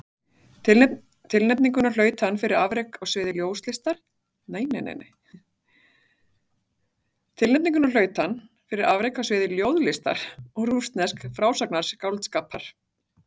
Tilnefninguna hlaut hann fyrir afrek á sviði ljóðlistar og rússnesks frásagnarskáldskapar.